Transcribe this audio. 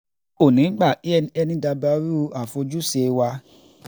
kò ní í gbà kí ẹnikẹ́ni dabarú àfojúse wa